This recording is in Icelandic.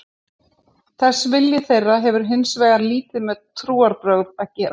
Þessi vilji þeirra hefur hins vegar lítið með trúarbrögð að gera.